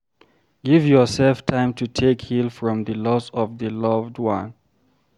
Give yourself time to take heal from di loss of di loved one